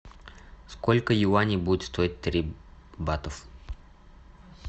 сколько юаней будет стоить три батов